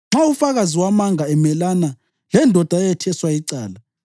Nxa ufakazi wamanga emelana lendoda eyetheswa icala,